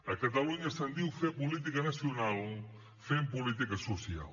a catalunya se’n diu fer política nacional fent política social